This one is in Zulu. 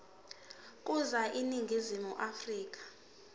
ukuza eningizimu afrika